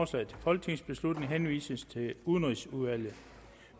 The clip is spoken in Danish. til folketingsbeslutning henvises til udenrigsudvalget